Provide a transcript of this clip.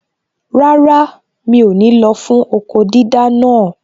Rárá, mi ò ní lọ fún okó dídá naa